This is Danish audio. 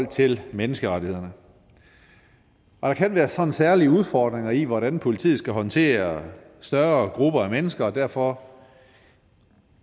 til menneskerettighederne og der kan være sådan særlige udfordringer i hvordan politiet skal håndtere større grupper af mennesker og derfor